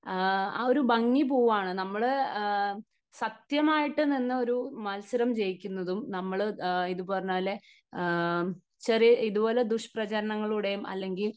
ആ ഒരു ഭംഗി പോവുകയാണ്. നമ്മൾ സത്യമായിട്ട് നിന്ന് ഒരു മത്സരം ചെയ്യിക്കുന്നതും നമ്മൾ ഇത് പറഞ്ഞപോലെ ചെറിയ, ഇതുപോലെ ദുഷ്പ്രചരണങ്ങളിലൂടെയും അല്ലെങ്കിൽ